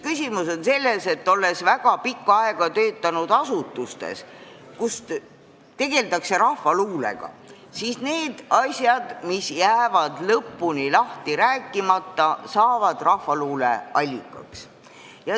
Küsimus on selles, et olles väga pikka aega töötanud asutustes, kus tegeldakse rahvaluulega, tean ma, et need asjad, mis jäävad lõpuni lahti rääkimata, saavad rahvaluule allikaks.